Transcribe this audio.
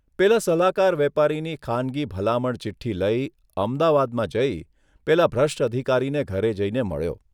પેલા સલાહકાર વેપારીની ખાનગી ભલામણ ચીઠ્ઠી લઇ, અમદાવાદમાં જઇ પેલા ભ્રષ્ટ અધિકારીને ઘરે જઇને મળ્યો.